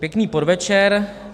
Pěkný podvečer.